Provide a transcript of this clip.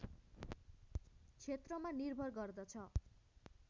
क्षेत्रमा निर्भर गर्दछ